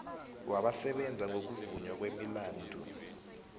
wabasebenza ngokuvunywa kwemilandu